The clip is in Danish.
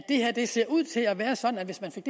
det ser ud til at være sådan at hvis man fik